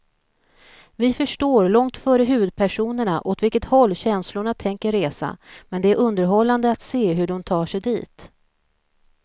Vi förstår långt före huvudpersonerna åt vilket håll känslorna tänker resa, men det är underhållande att se hur de tar sig dit.